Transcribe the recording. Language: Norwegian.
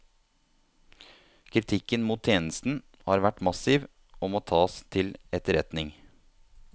Kritikken mot tjenesten har vært massiv og må tas til etterretning.